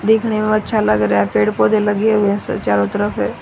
देखने में अच्छा लग रहा पेड़ पौधे लगे हुए है स चारों तरफ--